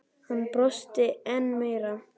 Hann brosti enn meira.